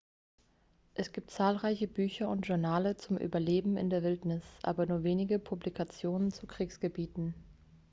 es gibt zahlreiche bücher und journale zum überleben in der wildnis aber nur wenige publikationen zu kriegsgebieten